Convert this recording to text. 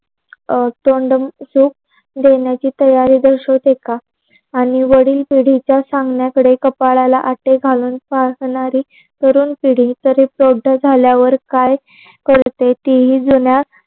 अ तोंडमची सुख देण्याची तयारी दर्शवते का? आणि वडील पिडीच्या सांगण्याकडे कपळला आटे घालून. काम करणारी तरुण पिढी तरी प्रोडय झाल्यावर काय कळते. ते ही जुन्या.